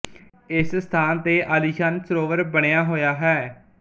ਇਸ ਸਥਾਨ ਤੇ ਆਲੀਸ਼ਾਨ ਸਰੋਵਰ ਬਣਿਆ ਹੋਇਆ ਹੈ